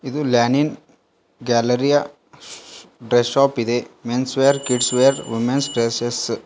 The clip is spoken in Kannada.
ಇದು ಲ್ಯಾನಿನ್ ಗ್ಯಾಲೆಯಿರಾ ಡ್ರೆಸ್ ಶಾಪ್ ಇದೆ men's wear kids wear women's dresses --